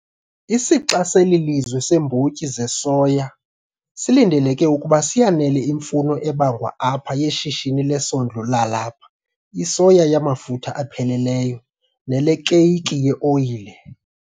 Isixa seli lizwe seembotyi zesoya silindeleke ukuba siyanele imfuno ebangwa apha yeshishini lesondlo lalapha, isoya yamafutha apheleleyo, nelekeyiki ye-oyile.